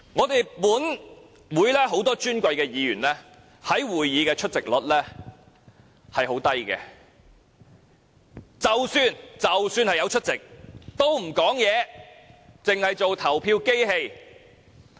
本會很多尊貴議員的會議出席率十分低，即使有出席，也不發言，只當投票機器。